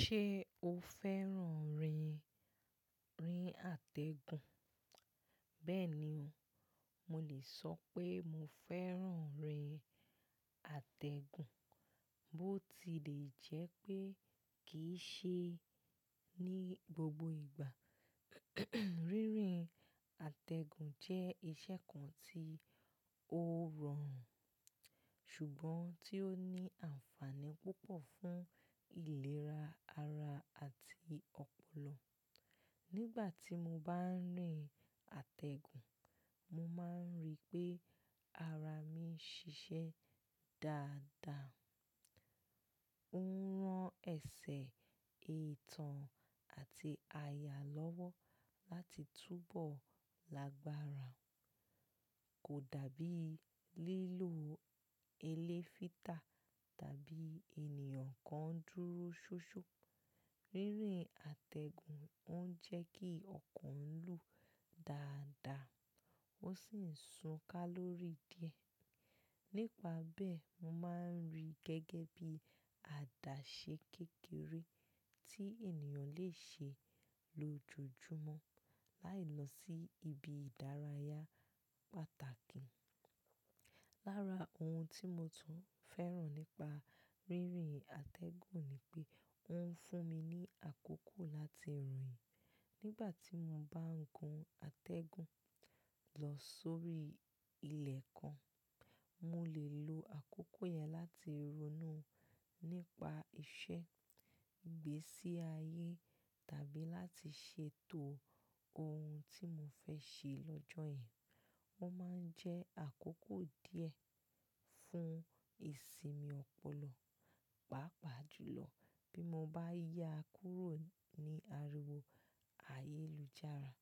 Ṣé o fẹ́ràn rírin àtẹ̀gùn? Bẹ́ẹ̀ni o, mo lè sọ pé mo fẹ́ràn rírin àtẹ̀gùn bó ti lè jẹ́ pé kì í ṣe ní gbogbo ìgbà. Rírin àtẹ̀gùn jẹ́ ìṣe kan tí ó rọrùn ṣùgbọ́n tí ó ní àǹfààní púpọ̀ fún ìlera ara àti ọpọlọ. Nígbà tí mo bá ń rìn àtẹ̀gùn, mo máa ń rí pé ara mi ń ṣiṣẹ́ dáadáa. Ó ń rán ẹsẹ̀, itàn àti àyà lọ́wọ́ láti túbọ̀ lágbára kò dàbí lílo ẹlẹ́fìtà tàbí ènìyàn kan dúró ṣóṣó. Rírin àtẹ̀gùn ó ń jẹ́ kí ọkàn lu dáadáa ó sì ń sun kálórì díẹ̀. Nípa bẹ́ẹ̀, mo máa ń rí i gẹ́gẹ́ bí àdáṣẹ́ kékeré tí ènìyàn lè ṣe lójoojúmọ́ láì lọ sí ibi ìdárayá pàtàkì. Lára ohun tí mo tún fẹ́ràn nípa rírin àtẹ̀gùn ni pé ó ń fún mi ní àkókò láti rìn. Nígbà tí mo bá ń gun àtẹ̀gùn lọ sórí ilẹ̀ kan, mo lè lo àkókò yẹn láti ronú nípa iṣẹ́, gbé sí ayé tàbí láti ṣètò ohun tí mo fẹ́ ṣe lọ́jọ́ yẹn. Ó máa ń jẹ́ àkókò díẹ̀ fún ìsinmi ọpọlọ, pàápàá jùlọ bí mo bá yá kúrò ní ariwo ayélujára.